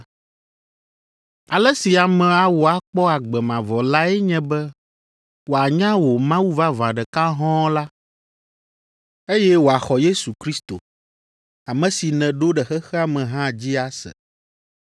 Ale si ame awɔ akpɔ agbe mavɔ lae nye be wòanya wò Mawu vavã ɖeka hɔ̃ɔ la, eye wòaxɔ Yesu Kristo, ame si nèɖo ɖe xexea me hã dzi ase.